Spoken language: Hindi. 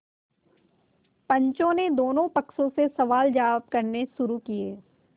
पंचों ने दोनों पक्षों से सवालजवाब करने शुरू किये